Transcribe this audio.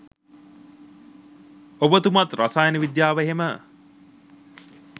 ඔබතුමාත් රසායන විද්‍යාව එහෙම